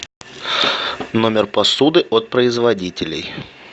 номер посуды от производителей